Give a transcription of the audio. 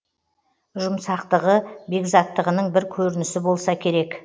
жұмсақтығы бекзаттығының бір көрінісі болса керек